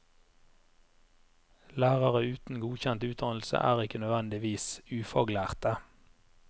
Lærere uten godkjent utdannelse er ikke nødvendigvis ufaglærte.